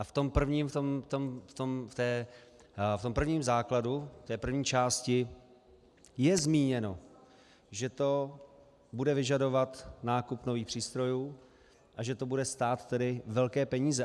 A v tom prvním základu, v té první části je zmíněno, že to bude vyžadovat nákup nových přístrojů a že to bude stát tedy velké peníze.